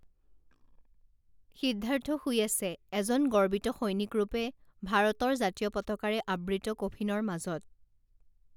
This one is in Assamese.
সিদ্ধাৰ্থ শুই আছে এজন গৰ্বিত সৈনিকৰূপে ভাৰতৰ জাতীয় পতাকাৰে আবৃত কফিনৰ মাজত